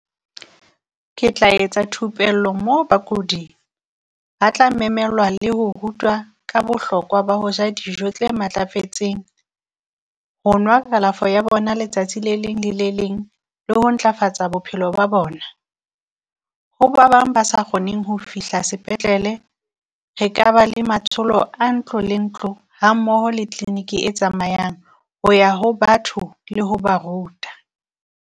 Ke tla etsa thupello moo bakudi ba tla memelwa le ho rutwa ka bohlokwa ba ho ja dijo tse matlafetseng. Ho nwa kalafo ya bona letsatsi le leng le le leng, le ho ntlafatsa bophelo ba bona. Ho ba bang ba sa kgoneng ho fihla sepetlele, re ka ba le matsholo a ntlo le ntlo, hammoho le tleniki e tsamayang ho ya ho batho le ho ba ruta.